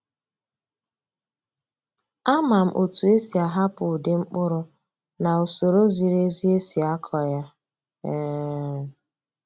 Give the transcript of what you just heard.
Ama m otu esi ahapụ ụdị mkpụrụ na usoro ziri ezi esi akọ ya. um